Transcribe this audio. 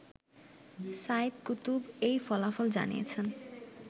Saeed Qutb এই ফলাফল জানিয়েছেন